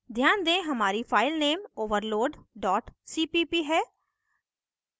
ध्यान दें हमारी file नेम overload cpp है